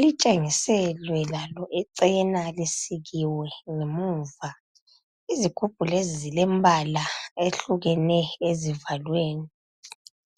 Litshengiselwe lalo ichena lisikiwe nge muva. Izigubhu lezi zilembala eyehlukene ezivalweni.